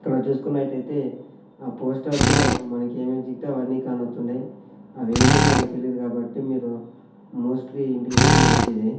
ఇక్కడ చూసుకున్నట్టైతే ఆ పోస్టర్ లో మనకి ఏమేమి చిక్కుతే అవన్నీ కానత్తుండాయ్ అవేమో మనకి తెలియదు కాబట్టి మీరు మోస్ట్లీ ఇంటికి పోయేది మంచిది.